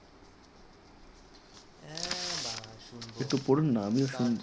একটু পড়ুন আমিও শুনি